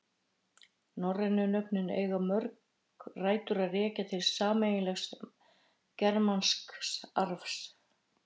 Norrænu nöfnin eiga mörg rætur að rekja til sameiginlegs germansks arfs.